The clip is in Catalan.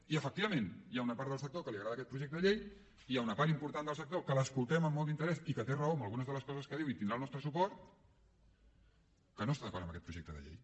i efectivament hi ha una part del sector que li agrada aquest projecte de llei i hi ha una part important del sector que l’escoltem amb molt d’interès i que té raó en algunes de les coses que diu i tindrà el nostre suport que no està d’acord amb aquest projecte de llei